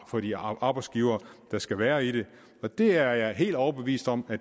for de arbejdsgivere der skal være i det og det er jeg helt overbevist om